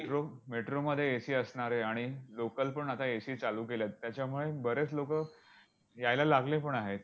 Metro मध्ये AC असणारे आणि local पण आता AC चालू केले आहेत. त्याच्यामुळे बरेच लोकं यायला लागले पण आहेत.